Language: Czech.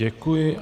Děkuji.